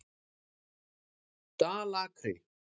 Dalakri